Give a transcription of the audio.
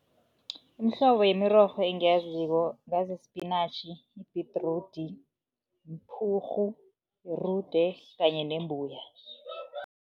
Imihlobo yemirorho engiyaziko, ngazi isipinatjhi, ibhedrudi, mphurhu, irude kanye nembuya.